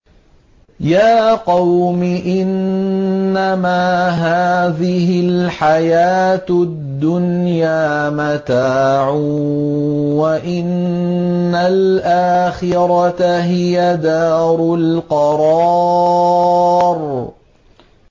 يَا قَوْمِ إِنَّمَا هَٰذِهِ الْحَيَاةُ الدُّنْيَا مَتَاعٌ وَإِنَّ الْآخِرَةَ هِيَ دَارُ الْقَرَارِ